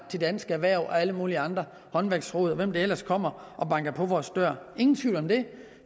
til dansk erhverv og alle mulige andre håndværksrådet og hvem der ellers kommer og banker på vores dør ingen tvivl om det